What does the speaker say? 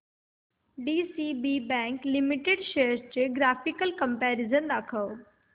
DCB bank limited shares चे graphical comparison दाखव